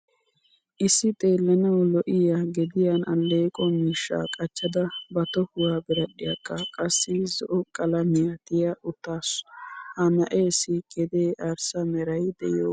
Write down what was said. Issi xeelanawu lo'iyaa gediyan alleeqqo miishshaa qachchada ba tohuwaa biradhdhiyaakka qassi zo'o qalamiyaa tiya uttasu. Ha na'essi gede arssa meray deiyoga.